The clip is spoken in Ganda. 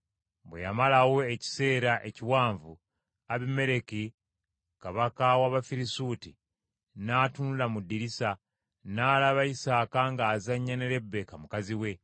Bwe yamalayo ekiseera ekiwanvu, Abimereki, kabaka w’Abafirisuuti n’atunula mu ddirisa, n’alaba Isaaka ng’azannya ne Lebbeeka mukazi we.